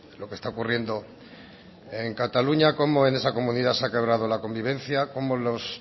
lo que está ocurriendo en cataluña cómo en esa comunidad se ha quebrado la convivencia cómo los